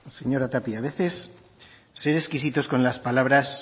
señora tapia a veces ser exquisitos con las palabras